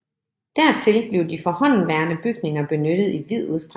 Dertil blev de forhåndenværende bygninger benyttet i vid udstrækning